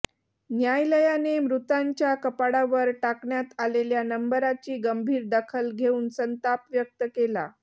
न्यायालयाने मृतांच्या कपाळावर टाकण्यात आलेल्या नंबराची गंभीर दखल घेऊन संताप व्यक्त केला